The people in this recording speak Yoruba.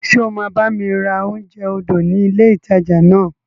Ṣé o máa bá mi ra oúnjẹ odò ni ilé ìtajà náà?